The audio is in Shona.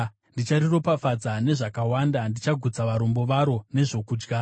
ndichariropafadza nezvakawanda; ndichagutsa varombo varo nezvokudya.